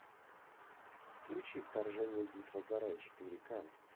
включи вторжение битва за рай четыре к